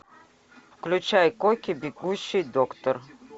включай кокки бегущий доктор